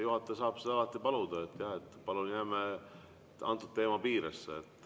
Juhataja saab seda alati paluda, jah, et jääme teema piiresse.